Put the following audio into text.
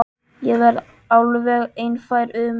Ég var alveg einfær um það.